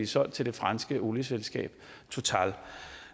solgt til det franske olieselskab total